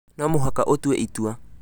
No mũhaka ũtue itua